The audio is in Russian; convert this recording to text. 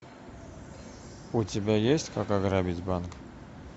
у тебя есть как ограбить банк